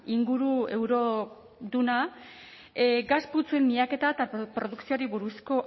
inguru euroduna gas putzuen miaketa eta produkzioari buruzko